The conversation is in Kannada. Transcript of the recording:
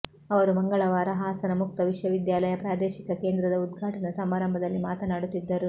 ಅವರು ಮಂಗಳವಾರ ಹಾಸನ ಮುಕ್ತ ವಿಶ್ವವಿದ್ಯಾಲಯ ಪ್ರಾದೇಶಿಕ ಕೇಂದ್ರದ ಉದ್ಘಾಟನಾ ಸಮಾರಂಭದಲ್ಲಿ ಮಾತನಾಡುತ್ತಿದ್ದರು